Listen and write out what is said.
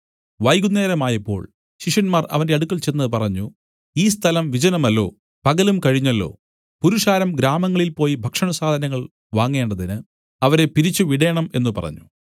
വൈകുന്നേരമായപ്പോൾ ശിഷ്യന്മാർ അവന്റെ അടുക്കൽ ചെന്ന് പറഞ്ഞു ഈ സ്ഥലം വിജനമല്ലോ പകലും കഴിഞ്ഞല്ലോ പുരുഷാരം ഗ്രാമങ്ങളിൽ പോയി ഭക്ഷണസാധനങ്ങൾ വാങ്ങേണ്ടതിന് അവരെ പിരിച്ചുവിടേണം എന്നു പറഞ്ഞു